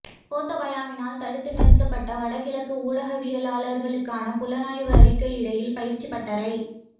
கோத்தபாயவினால் தடுத்து நிறுத்தப்பட்ட வட கிழக்கு ஊடகவியலாளர்களுக்கான புலனாய்வு அறிக்கையிடல் பயிற்சிப் பட்டறை